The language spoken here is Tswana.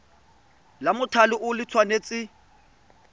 la mothale o le tshwanetse